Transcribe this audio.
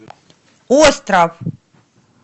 остров